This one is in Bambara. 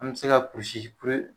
An be se ka kulusi bere